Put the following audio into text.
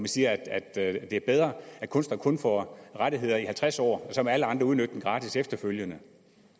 siger at det er bedre at kunstnere kun får rettigheder i halvtreds år og så må alle andre udnytte værket gratis efterfølgende